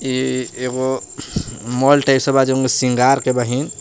ई एगो mall type से बा जवन के सिंगार के बहिं।